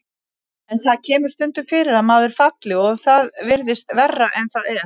En það kemur stundum fyrir að maður falli og það virðist verra en það er.